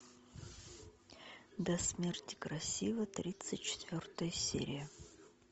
до смерти красива тридцать четвертая серия